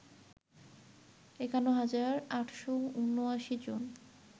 ৫১ হাজার ৮৭৯ জন